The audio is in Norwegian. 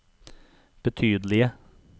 betydelige